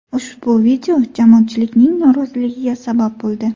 Ushbu video jamoatchilikning noroziligiga sabab bo‘ldi.